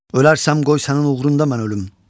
Ölərsəm qoy sənin uğrunda mən ölüm.